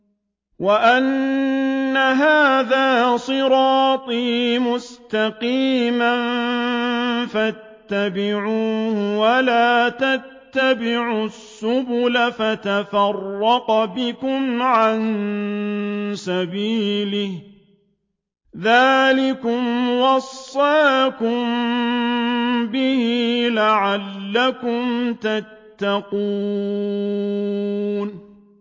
وَأَنَّ هَٰذَا صِرَاطِي مُسْتَقِيمًا فَاتَّبِعُوهُ ۖ وَلَا تَتَّبِعُوا السُّبُلَ فَتَفَرَّقَ بِكُمْ عَن سَبِيلِهِ ۚ ذَٰلِكُمْ وَصَّاكُم بِهِ لَعَلَّكُمْ تَتَّقُونَ